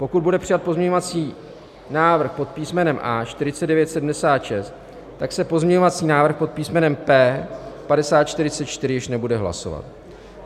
Pokud bude přijat pozměňovací návrh pod písmenem A 4976, tak se pozměňovací návrh pod písmenem P 5044 již nebude hlasovat.